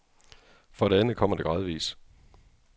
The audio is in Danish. For det andet kommer det gradvis.